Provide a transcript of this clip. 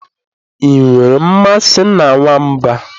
I nwere mmasị na nwamba?